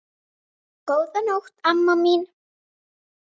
Það fengum við alltaf.